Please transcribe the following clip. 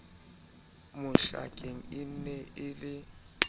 mohlakeng e ne e le